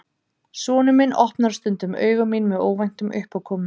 Sonur minn opnar stundum augu mín með óvæntum uppákomum.